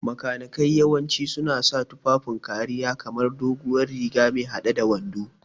Makanikai yawanci suna sa tufafin kariya kamar doguwar riga me hade da wando.